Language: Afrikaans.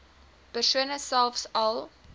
persone selfs al